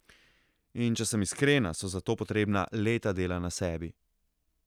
In če sem iskrena, so za to potrebna leta dela na sebi.